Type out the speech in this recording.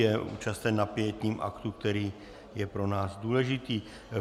Je účasten na pietním aktu, který je pro nás důležitý.